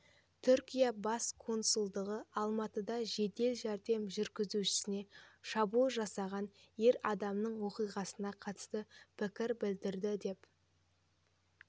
түркия бас консулдығы алматыда жедел жәрдем жүргізушісіне шабуыл жасаған ер адамның оқиғасына қатысты пікір білдірді деп